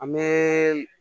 An bɛ